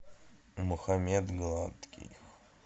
мухаммед гладкий